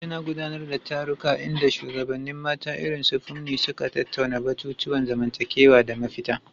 Abuja na gudanar da taruka inda shugabannin mata irin su Funmi suka tattauna batutuwan zamantakewa da mafita.